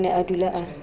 o ne a dula a